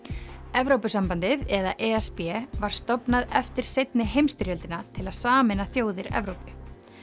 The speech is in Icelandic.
Evrópusambandið eða e s b var stofnað eftir seinni heimsstyrjöldina til að sameina þjóðir Evrópu